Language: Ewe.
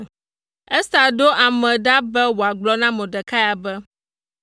Ester ɖo ame ɖa be woagblɔ na Mordekai be: